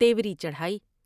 تیوری چڑھائی ۔